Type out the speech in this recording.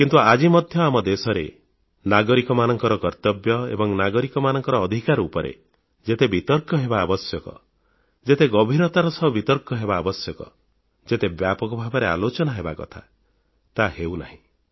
କିନ୍ତୁ ଆଜି ମଧ୍ୟ ଆମ ଦେଶରେ ନାଗରିକମାନଙ୍କ କର୍ତ୍ତବ୍ୟ ଏବଂ ନାଗରିକମାନଙ୍କ ଅଧିକାର ଉପରେ ଯେତେ ବିତର୍କ ହେବା ଆବଶ୍ୟକ ଯେତେ ଗଭୀରତାର ସହ ବିତର୍କ ହେବା ଆବଶ୍ୟକ ଯେଉଁ ବ୍ୟାପକ ଭାବରେ ଆଲୋଚନା ହେବା କଥା ତାହା ହେଉ ନାହିଁ